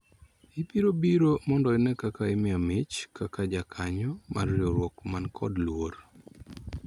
Ibiro biro mondo ine ka imiya mich kaka jakanyo mar riwruok manikod luor